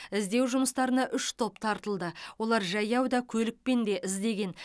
іздеу жұмыстарына үш топ тартылды олар жаяу да көлікпен де іздеген